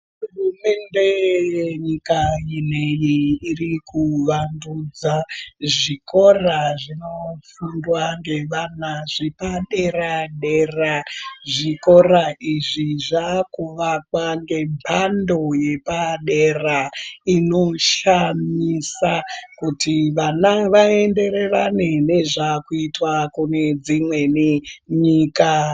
Hurumende yenyika iyeyi iri kuwandudza zvikora zvinofundwa ngevana zvepadera-dera. Zvikora izvi zvakuvakwa ngemhando yepadera inoshamisa kuti vana vaenderera ne nezvakuitwa kune dzimweni nyika.